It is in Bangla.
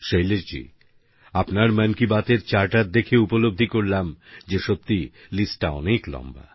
শৈলেশ জি আপনার মন কি বাত এর চার্টার দেখে উপলব্ধি করলাম যে সত্যিই লিস্টটা অনেক লম্বা